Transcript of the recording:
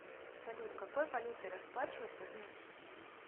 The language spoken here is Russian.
салют какой валютой расплачиваться в мюнхене